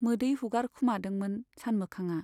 मोदै हुगारखोमादोंमोन सानमोखांआ।